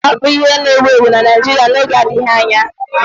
Isi nkwọcha ga-abụ ihe na-ewu ewu na Naịjirịa n'oge adịghị anya